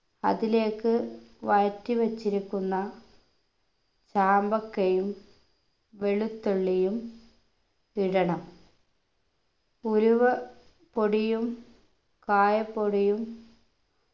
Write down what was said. അതിലേക്ക് വഴറ്റി വച്ചിരിക്കുന്ന ചാമ്പക്കയും വെളുത്തുള്ളിയും ഇടണം ഉലുവ പൊടിയും കായപ്പൊടിയും